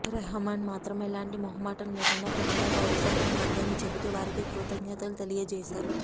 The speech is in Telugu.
రహమాన్ మాత్రం ఎలాంటి మొహమాటం లేకుండా కెనడా పౌరసత్వం వద్దని చెబుతూ వారికి కృతజ్ఞతలు తెలియజేసారు